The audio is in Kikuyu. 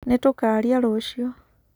Nĩtũkaria rũciũ.